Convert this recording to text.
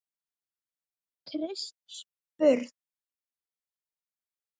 Krists burð.